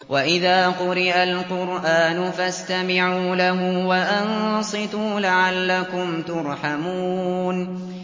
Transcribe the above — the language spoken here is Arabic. وَإِذَا قُرِئَ الْقُرْآنُ فَاسْتَمِعُوا لَهُ وَأَنصِتُوا لَعَلَّكُمْ تُرْحَمُونَ